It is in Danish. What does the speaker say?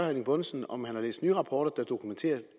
erling bonnesen om han har læst nye rapporter der dokumenterer